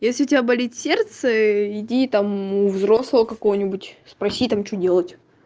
если у тебя болит сердце иди и там у взрослого какого-нибудь спроси там что делать